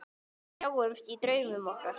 Sjáumst í draumum okkar.